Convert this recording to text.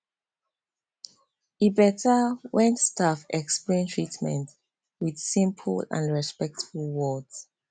e better when staff explain treatment with simple and respectful words